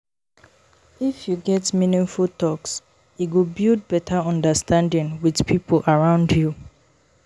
If you get meaningful talks, e go build better understanding with people around you.